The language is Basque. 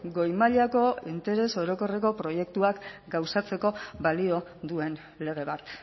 goi mailako interes orokorreko proiektuak gauzatzeko balio duen lege bat